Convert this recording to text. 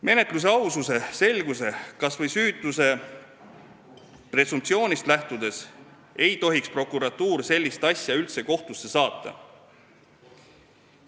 Menetluse aususest, selgusest, kas või süütuse presumptsioonist lähtudes ei tohiks prokuratuur sellist asja üldse kohtusse saata.